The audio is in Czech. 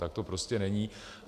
Tak to prostě není.